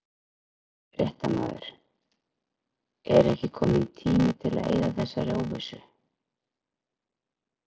Fréttamaður: Er ekki kominn tími til að eyða þessari óvissu?